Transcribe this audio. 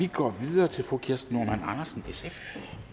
vi går videre til fru kirsten normann andersen sf